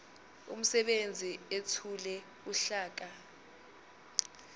umsebenzi ethule uhlaka